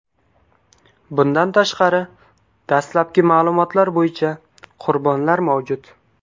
Bundan tashqari, dastlabki ma’lumotlar bo‘yicha, qurbonlar mavjud.